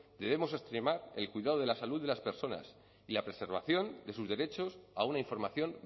debemos extremar el cuidado de la salud de las personas y la preservación de sus derechos a una información